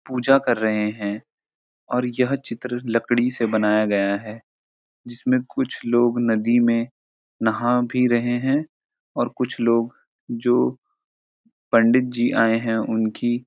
पूजा कर रहे हैं और यह चित्र लकड़ी से बनाया गया है जिसमें कुछ लोग नदी में नहा भी रहे हैं और कुछ लोग जो पंडितजी आये हैं उनकी --